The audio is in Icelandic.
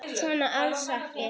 Svo var alls ekki.